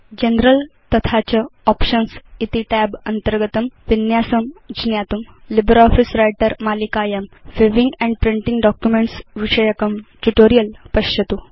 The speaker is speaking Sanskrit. जनरल तथा च आप्शन्स् इति tab अन्तर्गतं विन्यासं ज्ञातुं लिब्रियोफिस व्रिटर मालिकायां व्यूइंग एण्ड प्रिंटिंग डॉक्युमेंट्स् विषयकं ट्यूटोरियल् पश्यतु